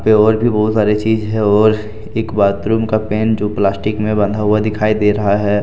और भी बहुत सारी चीज है और एक बाथरूम का पेन जो प्लास्टिक में बंधा हुआ दिखाई दे रहा है।